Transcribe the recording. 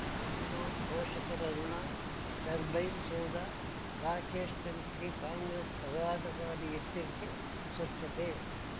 ಬೆಂಗ್ಳೂರು ಪೋಷಕರಋಣ ಟರ್ಬೈನ್ ಸೌಧ ರಾಕೇಶ್ ತನಿಖೆಗೆ ಕಾಂಗ್ರೆಸ್ ಆಘಾತಕಾರಿ ಎಚ್ಚರಿಕೆ ಸ್ವಚ್ಛತೆ